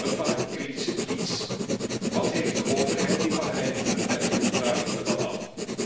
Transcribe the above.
Een paar kritische tweets. Wat heeft de overheid in Bahrein te verbergen, vraag ik me dan af.